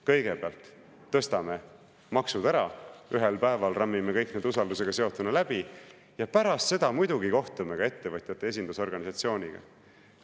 Kõigepealt tõstame maksud ära, ühel päeval rammime kõik need usaldusega seotuna läbi ja pärast seda muidugi kohtume ka ettevõtjate esindusorganisatsiooniga.